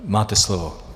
Máte slovo.